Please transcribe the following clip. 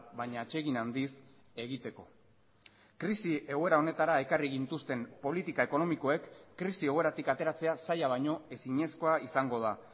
baina atsegin handiz egiteko krisi egoera honetara ekarri gintuzten politika ekonomikoek krisi egoeratik ateratzea zaila baino ezinezkoa izango da